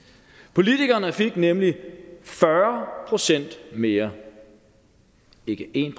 politikerne fik nemlig fyrre procent mere ikke en